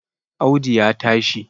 Audu ya tashi